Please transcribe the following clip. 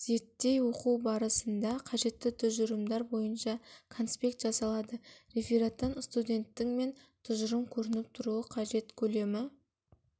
зерттей оқу барысында қажетті тұжырымдар бойынша конспект жасалады рефераттан студенттің мен тұжырымы көрініп тұруы қажет көлемі